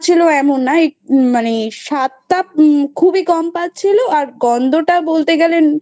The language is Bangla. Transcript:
এমন না মানে স্বাদটা খুবই কম পাচ্ছিল আর গন্ধটা বলতে গেলে